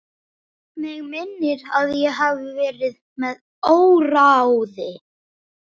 Mig minnir að ég hafi verið með óráði.